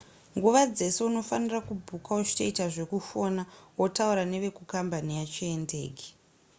nguva dzese unofanira kubhuka uchitoita zvekufona wotaura nevekukambani yacho yendege